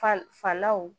Falaw